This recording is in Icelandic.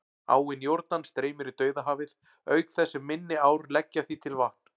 Áin Jórdan streymir í Dauðahafið, auk þess sem minni ár leggja því til vatn.